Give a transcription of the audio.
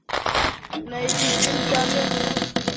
Nei, því skyldi hann vera með mér?